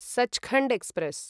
Sachkhand express